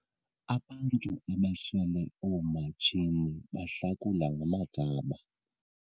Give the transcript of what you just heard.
Abantu abaswele oomatshini bahlakula ngamagaba.